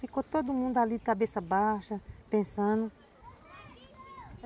Ficou todo mundo ali, cabeça baixa, pensando.